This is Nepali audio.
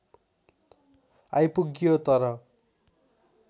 आइपुग्यो तर